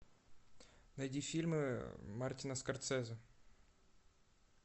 найди фильмы мартина скорсезе